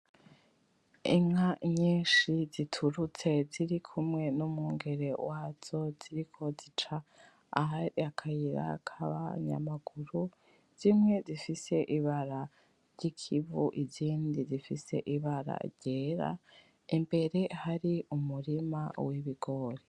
Inka nyinshi zitirutse ziri kumwe n'umwungere wazo ziriko zica ahari akayira kabanya maguru zimwe zifise ibara ry'ikivu izindi zifise ibara ryera imbere hari umurima w'ibigori.